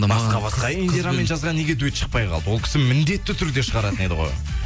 басқа басқа индирамен жазған неге дуэт шықпай қалды ол кісі міндетті түрде шығаратын еді ғой